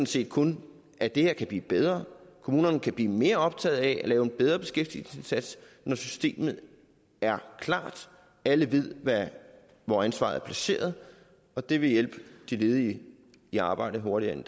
set kun at det her kan blive bedre kommunerne kan bliver mere optaget af at lave en bedre beskæftigelsesindsats når systemet er klart og alle ved hvor ansvaret er placeret og det vil hjælpe de ledige i arbejde hurtigere